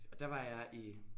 Og der var jeg i